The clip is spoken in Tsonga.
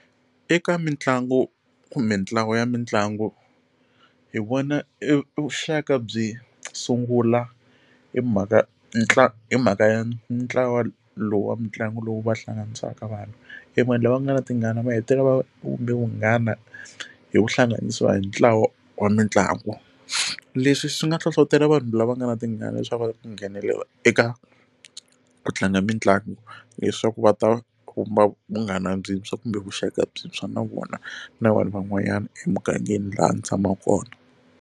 Eka mitlangu kumbe ntlawa ya mitlangu hi vona e vuxaka byi sungula hi mhaka ntlangu hi mhaka ya ntlawa lowu wa mitlangu lowu va hlanganisaka vanhu e vanhu lava nga na tingana va hetelela va kume vunghana hi ku hlanganisiwa hi ntlawa wa mitlangu leswi swi nga hlohlotelo vanhu lava nga na tingana leswaku va nghenelela eka ku tlanga mitlangu leswaku va ta kuma vunghana byintswa kumbe vuxaka byintshwa na vona na vanhu van'wanyana emugangeni laha ndzi tshamaka kona.